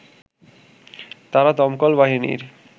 তারা দমকল বাহিনীর